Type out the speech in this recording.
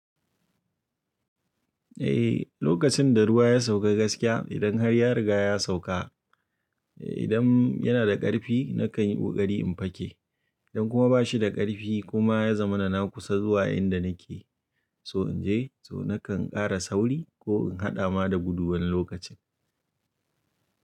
Eh, lokacin da ruwa ya sauka gaskiya idan har ya riga ya sauka, eh idan yana da ƙarfi nakan yi kokari in fake. Idan kuma ba shi da ƙarfi kuma ya zamana na kusa zuwa inda nake, so in je nakan ƙara sauri ko in haɗa ma da gudu wani lokacin.